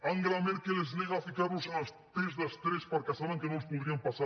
angela merkel es nega a ficar los en els tests d’estrès perquè saben que no els podrien passar